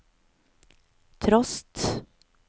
trost